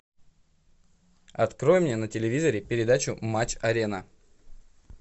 открой мне на телевизоре передачу матч арена